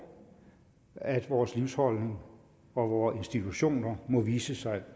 at vor livsholdning og vore institutioner må vise sig